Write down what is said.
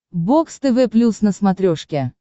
бокс тв плюс на смотрешке